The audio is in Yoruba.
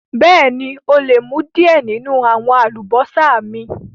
Bẹẹ̀ni, o lè mú diẹ̀ ninu àwọn àlúbọsà mi.